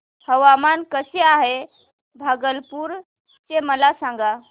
हवामान कसे आहे भागलपुर चे मला सांगा